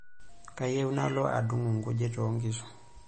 Kayieu nalo adung'u nkujit oonkishu.